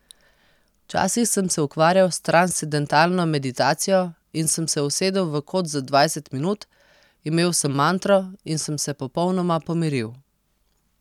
Včasih sem se ukvarjal s transcendentalno meditacijo in sem se usedel v kot za dvajset minut, imel sem mantro in sem se popolnoma pomiril.